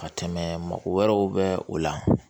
Ka tɛmɛ mɔgɔ wɛrɛw bɛ o la